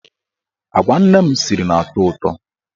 Agwa nne m siri na-atọ ụtọ.